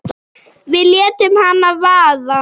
Við létum hana vaða.